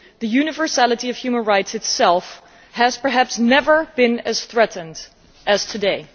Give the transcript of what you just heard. The universality of human rights itself has perhaps never been as threatened as it is today.